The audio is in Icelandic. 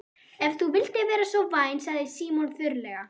Ef þú vildir vera svo vænn sagði Símon þurrlega.